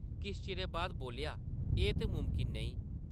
किश चिरै बाद बोल्लेआ, एह् ते मुमकन नेईं ।